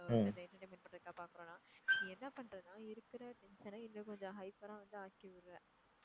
அந்த entertainment பண்றதுக்காக பாக்குறோம்னா நீ என்ன பண்றன்னா இருக்குற tension அ இன்னும் கொஞ்சம் hyper ஆ வந்து ஆக்கிவிடுற.